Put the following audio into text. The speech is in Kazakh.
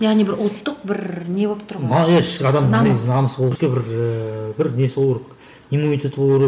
яғни бір ұлттық бір не болып тұр ғой бір бір несі болу керек иммунитеті болу керек